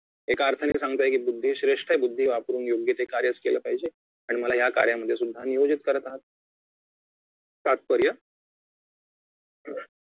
एका अर्थाने सांगताय की बुद्धी श्रेष्ठ बुद्धी वापरुन योग्य ते कार्य केले पाहिजे आणि मला या कार्यामध्ये सुद्धा नियोजित करत आहात तात्पर्य